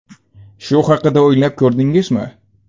Shu haqida o‘ylab ko‘rdingizmi?